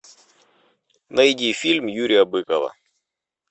найди фильм юрия быкова